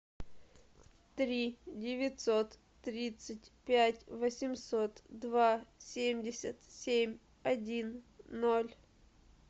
три девятьсот тридцать пять восемьсот два семьдесят семь один ноль